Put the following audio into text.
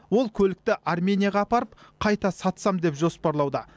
ол көлікті арменияға апарып қайта сатсам деп жоспарлауда